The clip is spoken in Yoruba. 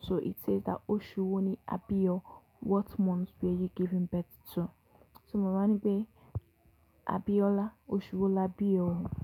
So it says that oṣù wo ni a bi o? What month were you given birth to? So mo wa ni pe Abiola, oṣù wo la bi o?